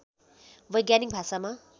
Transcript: वैज्ञानिक भाषामा